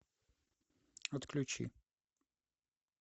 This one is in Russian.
отключи